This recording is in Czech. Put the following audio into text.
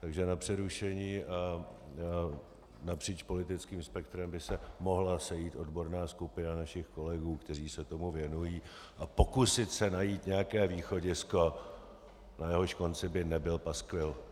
Takže na přerušení a napříč politickým spektrem by se mohla sejít odborná skupina našich kolegů, kteří se tomu věnují, a pokusit se najít nějaké východisko, na jehož konci by nebyl paskvil.